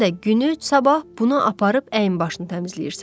Sən də günü sabah bunu aparıb əyin başını təmizləyirsən.